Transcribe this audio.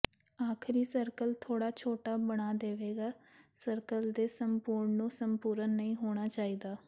ਆਖ਼ਰੀ ਸਰਕਲ ਥੋੜਾ ਛੋਟਾ ਬਣਾ ਦੇਵੇਗਾ ਸਰਕਲ ਦੇ ਸੰਪੂਰਣ ਨੂੰ ਸੰਪੂਰਨ ਨਹੀਂ ਹੋਣਾ ਚਾਹੀਦਾ